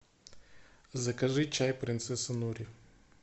закажи чай принцесса нури